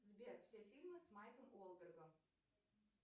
сбер все фильмы с марком уолбергом